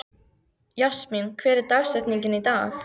Jasmín, hver er dagsetningin í dag?